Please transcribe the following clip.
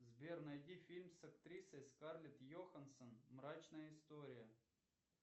сбер найди фильм с актрисой скарлет йохансон мрачная история